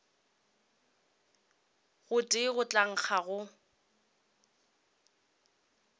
gotee go tla nkga go